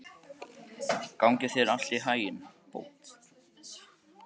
Gangi þér allt í haginn, Bót.